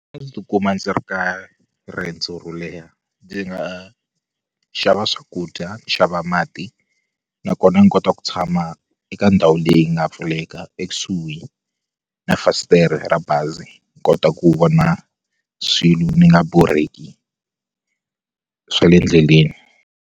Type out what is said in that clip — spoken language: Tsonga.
A ndzi tikuma ndzi ri ka riendzo ro leha ndzi nga xava swakudya ni xava mati nakona ni kota ku tshama eka ndhawu leyi nga pfuleka ekusuhi na fasitere ra bazi ni kota ku vona swilu ni nga borheki swa le endleleni.